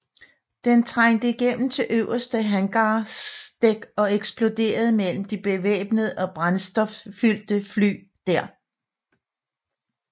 Den trængte igennem til øverste hangardæk og eksploderede mellem de bevæbnede og brændstoffyldte fly der